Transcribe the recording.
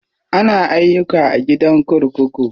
Ana ayyuka a gidan kurkuku.